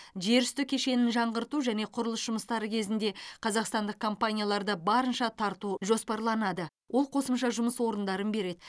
жерүсті кешенін жаңғырту және құрылыс жұмыстары кезінде қазақстандық компанияларды барынша тарту жоспарланады ол қосымша жұмыс орындарын береді